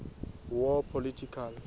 war political